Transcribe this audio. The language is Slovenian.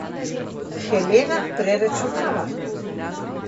Helena preračunava.